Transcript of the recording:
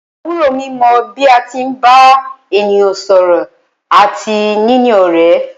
Àbúrò mi mọ bí a tí ń bá ènìyàn sọ̀rọ̀ àti níní ọ̀rẹ́.